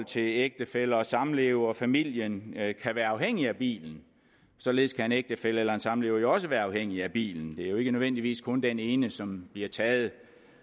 til ægtefælle og samlever familien kan være afhængig af bilen således kan en ægtefælle eller en samlever jo også være afhængig af bilen det er jo ikke nødvendigvis kun den ene som bliver taget